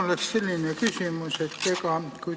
Mul on selline küsimus.